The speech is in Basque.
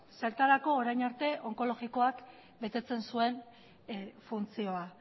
zertarako orain arte onkologikoak betetzen zuen funtzioa